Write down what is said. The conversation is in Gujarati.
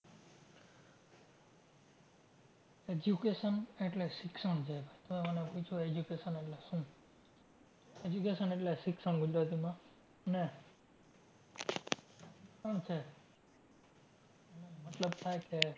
Education એટલે શિક્ષણ છે. તમે મને પૂછો education એટલે શું? education એટલે શિક્ષણ ગુજરાતીમાં ને પણ છે મતલબ થાય છે